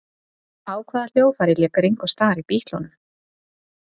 Á hvaða hljóðfæri lék Ringo Starr í Bítlunum?